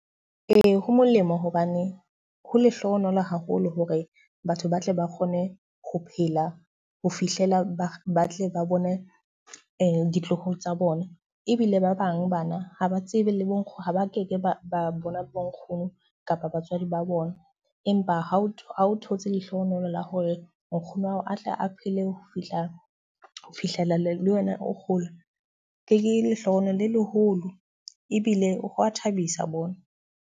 Ee, ho molemo hobane ho lehlohonolo haholo hore batho ba tle ba kgone ho phela ho fihlela ba ba tle ba bone ditloholo tsa bona. Ebile ba bang bana ha ba tsebe le bo nkgono, ba keke ba bona bo nkgono kapa batswadi ba bona. Empa ha o ha o thotse lehlohonolo la hore nkgono wa hao atle a phele ho fihla ho fihlela le wena o kgola. Ke lehlohonolo le leholo ebile hwa thabisa bohle.